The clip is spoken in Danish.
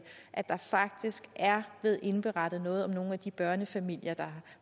at der faktisk er blevet indberettet noget om nogle af de børnefamilier der